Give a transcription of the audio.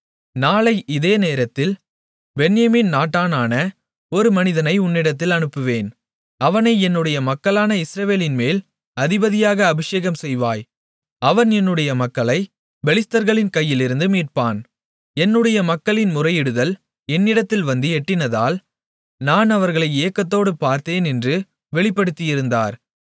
நாளை இதே நேரத்தில் பென்யமீன் நாட்டானான ஒரு மனிதனை உன்னிடத்தில் அனுப்புவேன் அவனை என்னுடைய மக்களான இஸ்ரவேலின்மேல் அதிபதியாக அபிஷேகம் செய்வாய் அவன் என்னுடைய மக்களை பெலிஸ்தர்களின் கையிலிருந்து மீட்பான் என்னுடைய மக்களின் முறையிடுதல் என்னிடத்தில் வந்து எட்டினதால் நான் அவர்களை ஏக்கத்தோடு பார்த்தேன் என்று வெளிப்படுத்தியிருந்தார்